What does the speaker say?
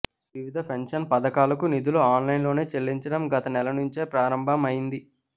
వివిధ పెన్షన్ పథకాలకు నిధులు ఆన్లైన్లోనే చెల్లించడం గత నెల నుంచే ప్రారంభం అయింది